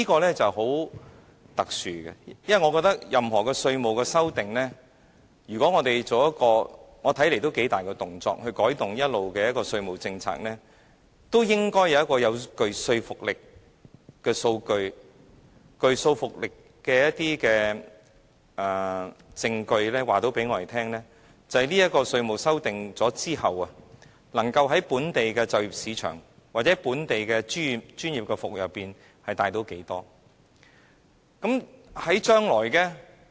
這是很特殊的，因為我覺得任何對《稅務條例》的修訂，如果要作出一個看似很大的動作以改動恆常的稅務政策，都應該有一些具說服力的數據或證據，告訴大家在修訂《稅務條例》後，能夠在本地就業市場或本地專業服務中帶動多少經濟利益。